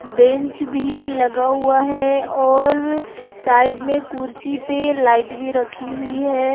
Bench भी लगा हुआ है और साइड में कुर्सी पे लाइट भी रखी हुई है।